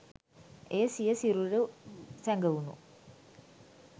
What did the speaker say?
එය සිය සිරුර් සැගවුණු